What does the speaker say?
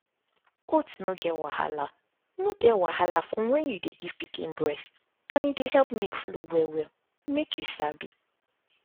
oats no get wahala no get wahala for when you dey give pikin breast and e dey help make milk flow well make you sabi